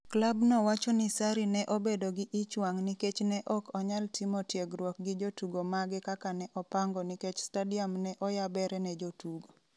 Klabno wacho ni Sarri ne obedo gi ich wang' nikech "ne ok onyal timo tiegruok gi jotugo mage kaka ne opango" nikech stadium ne oyabere ne jotugo.